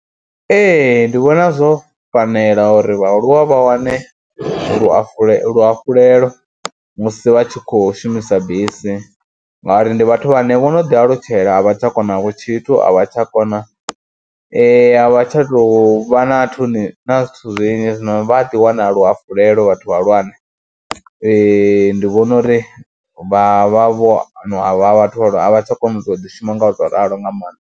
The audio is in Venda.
Ee ndi vhona zwo fanela uri vhaaluwa vha wane luhafhulelo luhafhulelo musi vha tshi khou shumisa bisi ngauri ndi vhathu vhane vho no ḓi alutshela a vha tsha konavho tshithu, a vha tsha kona a vha tsha tou vha na nthuni na zwithu zwinzhi. Zwino vha a ḓi wana luhafhulelo vhathu vhahulwane ndi vhona uri vha vha vho na vhathu a vha tsha kona u to ḓishuma ngauralo nga maanḓa.